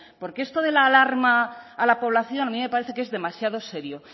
porque esto de la alarma a la población a mí me parece que es demasiado serio